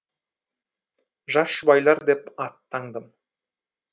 жас жұбайлар деп ат таңдым